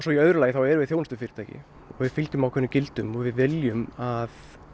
í öðru lagi þá erum við þjónustufyrirtæki og við fylgjum ákveðnum gildum og við viljum að